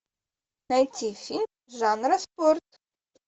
найти фильм жанра спорт